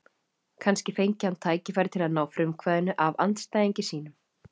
Kannski fengi hann tækifæri til að ná frumkvæðinu af andstæðingi sínum.